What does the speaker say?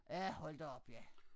Ja hold da op ja